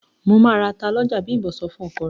"Mo máa ra ata lọ́jà", Bím̀bọ́ sọ fún ọkọ rẹ̀.